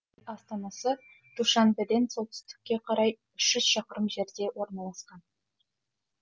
астанасы душанбеден солтүстікке қарай үш жүз шақырым жерде орналасқан